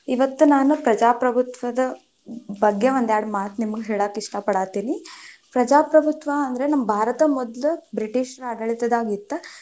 ಇವತ್ತ್ ನಾನ್ ಪ್ರಜಾಪ್ರಬುತ್ವದ ಬಗ್ಗೆ ಒಂದ್ಯಾರಡ್ ಮಾತ್ ನಿಮ್ಗ್ ಹೇಳಾಕ್ ಇಷ್ಟ ಪಡಾಹತಿನಿ, ಪ್ರಜಾಪ್ರಬುತ್ವ ಅಂದ್ರೆ ನಮ್ ಭಾರತ ಮೊದ್ಲು ಬ್ರಿಟಿಷರ ಆಡಳಿತದಾಗ ಇತ್ತ.